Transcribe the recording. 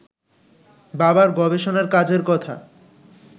বাবার গবেষণার কাজের কথা